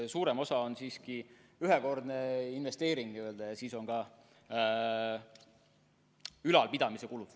Suurem osa on siiski ühekordne investeering ja siis on ka ülalpidamise kulud.